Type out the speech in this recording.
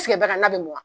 bari n'a bɛ mɔn